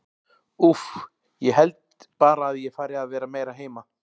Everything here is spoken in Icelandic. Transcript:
Úff, ég held bara að ég fari að vera meira heima.